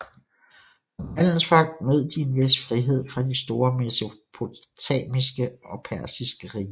Som handelsfolk nød de en vis frihed fra de store mesopotamiske og persiske riger